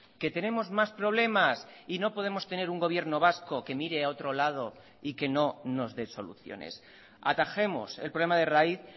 que tenemos más problemas y no podemos tener un gobierno vasco que mire a otro lado y que no nos dé soluciones atajemos el problema de raíz